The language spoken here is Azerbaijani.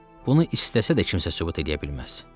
Baxın, bunu istəsə də kimsə söhbət eləyə bilməz.